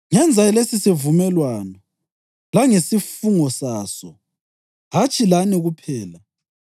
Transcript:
Ngenza lesisivumelwano, langesifungo saso, hatshi lani kuphela